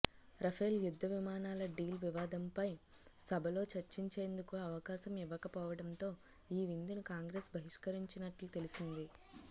Rafale యుద్ధ విమానాల deal వివాదంపై సభలో చర్చించేందుకు అవకాశం ఇవ్వకపోవడంతో ఈ విందును కాంగ్రెస్ బహిష్కరించినట్లు తెలిసింది